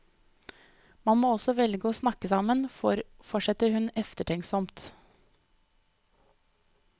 Man må også våge å snakke sammen, fortsetter hun eftertenksomt.